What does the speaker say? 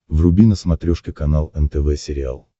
вруби на смотрешке канал нтв сериал